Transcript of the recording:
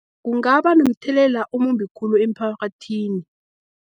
Kungaba nomthelela omumbi khulu emphakathini.